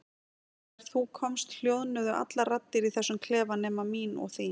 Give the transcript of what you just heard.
Og þegar þú komst hljóðnuðu allar raddir í þessum klefa nema mín og þín.